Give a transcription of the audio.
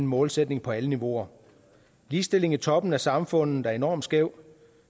målsætning på alle niveauer ligestilling i toppen af samfundet er enormt skæv